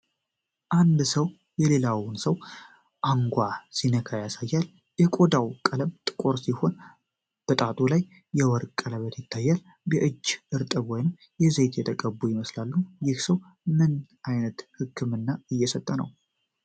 አንድ ሰው የሌላውን ሰው አንጓ ሲነካ ያሳያል። የቆዳው ቀለም ጥቁር ሲሆን፣ በጣቱ ላይ የወርቅ ቀለበት ይታያል። እጆቹ እርጥብ ወይም በዘይት የተቀቡ ይመስላሉ። ይህ ሰው ምን ዓይነት ሕክምና እየሰጠ ነው?